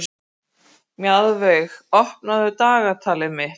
Mjaðveig, opnaðu dagatalið mitt.